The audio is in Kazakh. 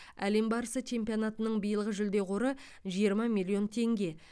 әлем барысы чемпионатының биылғы жүлде қоры жиырма миллион теңге